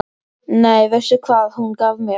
Nei, veistu hvað hún gaf mér?